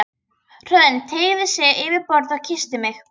Hrönn teygði sig yfir borðið og kyssti mig.